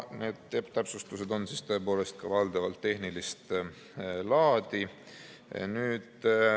Need täpsustused on valdavalt tehnilist laadi.